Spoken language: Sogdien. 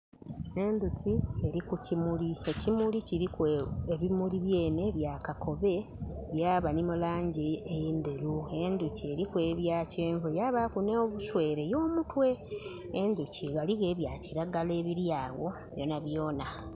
Endhuki eri ku kimuli, ekimuli kyenhe kiriku ebumuli byenhe bya kakobe byaba ni mulangi enderu endhuki eriku ebyakyenvu yabaaku nobuswere y'omutwe. Endhuki ghaligho ebyakilagala ebiri agho byonabyoona.